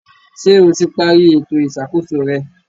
Ṣé o ti parí ètò ìṣàkóso rẹ?